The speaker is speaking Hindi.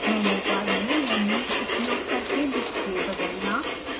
मेनू बार में मेनूज़ उपयोग करके डिस्प्ले बदलना